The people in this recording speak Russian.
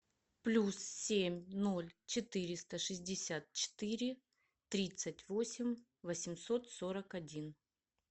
плюс семь ноль четыреста шестьдесят четыре тридцать восемь восемьсот сорок один